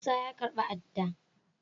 Musa ya karba ada.